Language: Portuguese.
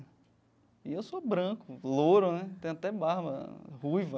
E eu sou branco, louro né, tenho até barba ruiva.